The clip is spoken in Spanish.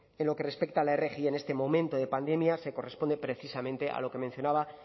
en lo que respecta a la rgi en este momento de pandemia se corresponde precisamente a lo que mencionaba